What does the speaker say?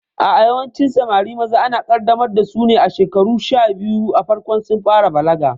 A'a, yawancin Samari maza ana kaddamar dasu ne a shekaru sha biyu a farkon sun fara balaga